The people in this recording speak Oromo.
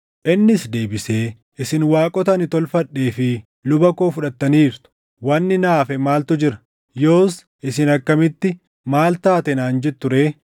Innis deebisee, “Isin waaqota ani tolfadhee fi luba koo fudhattaniirtu. Wanni naa hafe maaltu jira? Yoos isin akkamitti, ‘Maali taate?’ naan jettu ree?”